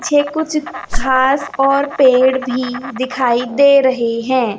ये कुछ घास और पेड़ भी दिखाई दे रहे हैं।